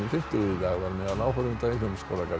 dag var meðal áhorfenda í Hljómskálarðinum